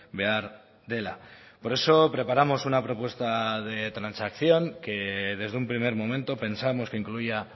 behar dela por eso preparamos una propuesta de transacción que desde un primer momento pensamos que incluía